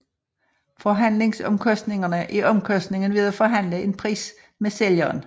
Forhandlingsomkostningerne er omkostningen ved at forhandle en pris med sælgeren